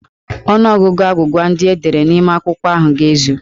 Ọnụọgụgụ agwụgwa ndị e dere n'ime akwụkwọ ahụ ga-ezu.